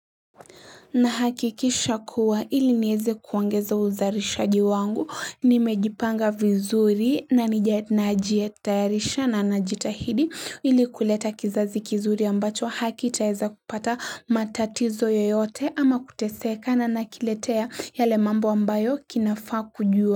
Nahakikisha kuwa ili nieze kuongeza uzarishaji wangu, nimejipanga vizuri na nija najiyetarisha na najitahidi ili kuleta kizazi kizuri ambacho hakitaeza kupata matatizo yoyote ama kutesekana na kiletea yale mambo ambayo kinafaa kujua.